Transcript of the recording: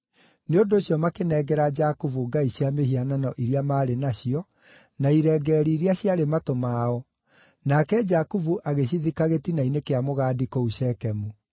Nĩ ũndũ ũcio makĩnengera Jakubu ngai cia mĩhianano iria maarĩ nacio, na irengeeri iria ciarĩ matũ mao, nake Jakubu agĩcithika gĩtina-inĩ kĩa mũgandi kũu Shekemu.